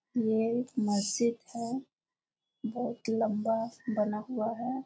ये एक मस्जिद है बहुत लम्बा बना हुआ है।